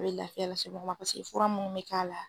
A bɛ lafiya lase mɔgɔ ma paseke fura minnu bɛ k'a la